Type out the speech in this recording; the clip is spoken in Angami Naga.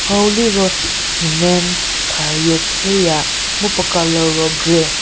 hau liro cement kha yie chü ya mu puo colour ro grey.